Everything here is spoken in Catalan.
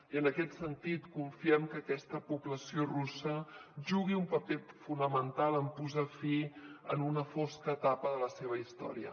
i en aquest sentit confiem que aquesta població russa jugui un paper fonamental en posar fi a una fosca etapa de la seva història